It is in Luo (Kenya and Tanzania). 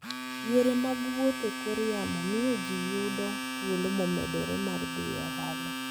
Yore mag wuoth e kor yamo miyo ji yudo thuolo momedore mar dhi e ohala.